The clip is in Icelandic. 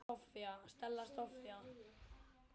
Stella Soffía.